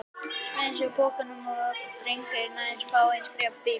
Smeygði svo á sig bakpokanum þegar drengurinn var aðeins fáein skref í burtu.